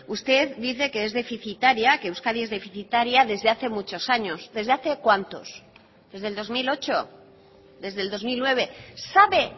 usted dice que es deficitaria que euskadi es deficitaria desde hace muchos años desde hace cuántos desde el dos mil ocho desde el dos mil nueve sabe